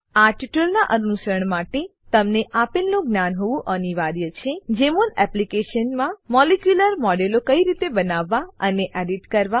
આ ટ્યુટોરીયલનાં અનુસરણ માટે તમને આપેલનું જ્ઞાન હોવું અનિવાર્ય છે જેમોલ એપ્લીકેશનમાં મોલેક્યુલર મોડેલો કઈ રીતે બનાવવા અને એડિટ કરવા